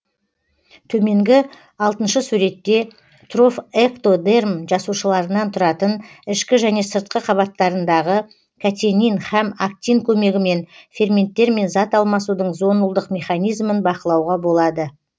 төменгі алтыншы суретте трофэктодерм жасушаларынан тұратын ішкі және сыртқы қабаттарындағы катенин һәм актин көмегімен ферменттермен зат алмасудың зонулдық механизмін бақылауға болады